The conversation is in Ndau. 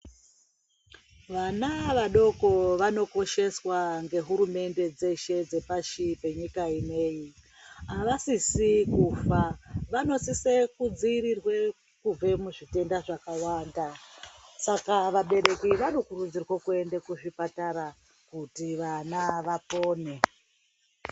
Vana vadoko vanokosheswa ngehurumende dzeshe dzepashi penyika ineyi. Avasisi kufa. Vanosise kudziirirwe kubve muzvitenda zvakawanda. Saka vabereki vanokurudzirwe kuende kuzvipatara kuti ana apone.